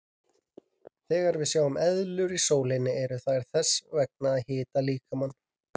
Þegar við sjáum eðlur í sólinni eru þær þess vegna að hita líkamann.